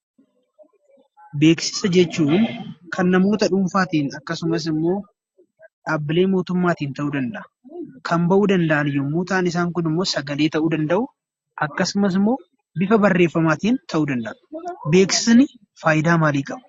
Beeksisa jechuun kan namoota dhuunfaatiin akkasumas immoo dhaabbilee mootummaatiin ta'uu danda'a; kan bahuu danda'an yommuu ta'u immoo sagalee ta'uu danda'u; akkasumas bifa barreeffamaatiin ta'uu danda'a. Beeksiisni faayidaa maalii qaba?